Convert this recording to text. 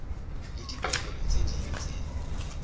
le dipehelo tse ding tse